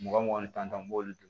Mugan mugan ni tan an b'olu dun